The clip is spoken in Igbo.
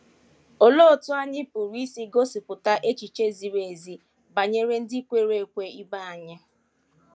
Olee otú anyị pụrụ isi gosipụta echiche ziri ezi banyere ndị kwere ekwe ibe anyị?